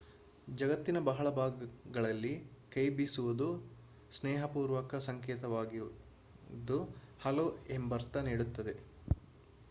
ಜಗತ್ತಿನ ಬಹಳ ಭಾಗಗಳಲ್ಲಿ ಕೈ ಬೀಸುವುದು ಸ್ನೇಹಪೂರ್ವಕ ಸಂಕೇತವಾಗಿದ್ದು ಹಲೋ ಎಂಬರ್ಥ ನೀಡುತ್ತದೆ